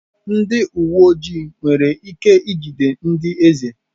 Ndị uwe ojii nwere ike ijide ndị eze?